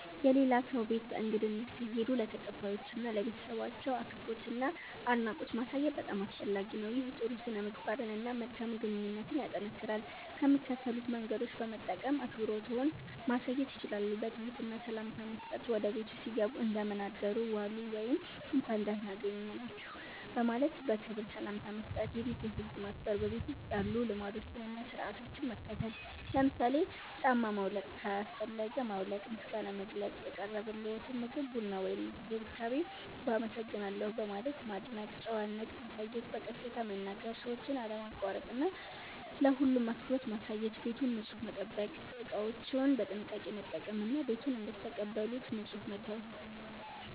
የሌላ ሰው ቤት በእንግድነት ሲሄዱ ለተቀባዮቹ እና ለቤተሰባቸው አክብሮትና አድናቆት ማሳየት በጣም አስፈላጊ ነው። ይህ ጥሩ ሥነ-ምግባርን እና መልካም ግንኙነትን ያጠናክራል። ከሚከተሉት መንገዶች በመጠቀም አክብሮትዎን ማሳየት ይችላሉ፦ በትህትና ሰላምታ መስጠት – ወደ ቤቱ ሲገቡ “እንደምን አደሩ/ዋሉ” ወይም “እንኳን ደህና አገኘናችሁ” በማለት በክብር ሰላምታ መስጠት። የቤቱን ህግ ማክበር – በቤቱ ውስጥ ያሉ ልማዶችን እና ሥርዓቶችን መከተል። ለምሳሌ ጫማ ማውለቅ ካስፈለገ ማውለቅ። ምስጋና መግለጽ – የቀረበልዎትን ምግብ፣ ቡና ወይም እንክብካቤ በ“አመሰግናለሁ” በማለት ማድነቅ። ጨዋነት ማሳየት – በቀስታ መናገር፣ ሰዎችን አለማቋረጥ እና ለሁሉም አክብሮት ማሳየት። ቤቱን ንጹህ መጠበቅ – እቃዎችን በጥንቃቄ መጠቀም እና ቤቱን እንደተቀበሉት ንጹህ መተው።